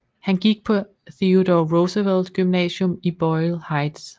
Han gik på Theodore Roosevelt gymnasium i Boyle Heights